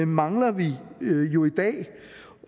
mangler vi jo i dag